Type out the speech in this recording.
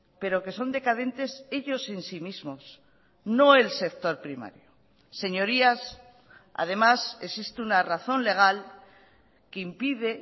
pero que son decadentes ellos en sí mismos no el sector primario señorías además existe una razón legal que impide